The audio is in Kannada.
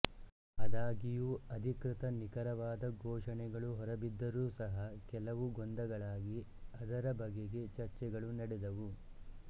ಆದಾಗ್ಯೂ ಅಧಿಕೃತ ನಿಖರವಾದ ಘೋಷಣೆಗಳು ಹೊರಬಿದ್ದರೂ ಸಹ ಕೆಲವು ಗೊಂದಗಳಾಗಿ ಅದರ ಬಗೆಗೆ ಚರ್ಚೆಗಳು ನಡೆದವು